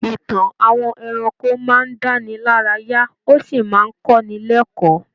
Ìtàn àwọn ẹranko máa ń dáni lárayá, ó sì máa ń kọ́ni lékọ̀ọ́.